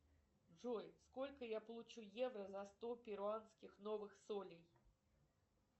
джой сколько я получу евро за сто перуанских новых солей